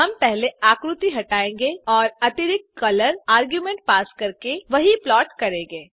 हम पहले आकृति हटायेंगे और अतिरिक्त कलर आर्ग्युमेंट पास करके वही प्लॉट करेंगे